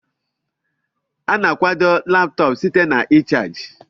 A na-akwado Laptọọpụ site na ịchaji